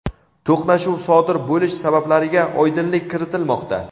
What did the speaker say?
to‘qnashuv sodir bo‘lish sabablariga oydinlik kiritilmoqda.